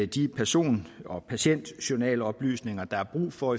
de person og patientjournaloplysninger der er brug for